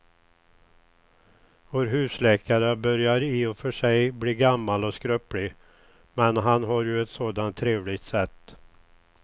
Vår husläkare börjar i och för sig bli gammal och skröplig, men han har ju ett sådant trevligt sätt!